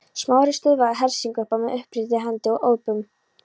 Smári stöðvaði hersinguna með uppréttri hendi og ópum.